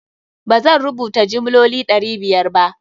ba zan rubuta jimloli ɗari biyar ba.